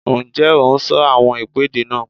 Ǹjẹ́ o n sọ àwọn ìpèdè náà?